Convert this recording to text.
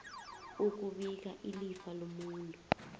ukubika ilifa lomuntu